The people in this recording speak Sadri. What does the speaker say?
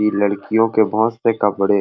इ लडकीयो के बहोत से कपड़े--